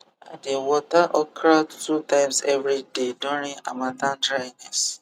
i dey water okra two times every day during harmattan dryness